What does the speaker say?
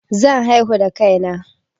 Zan haihu da kai na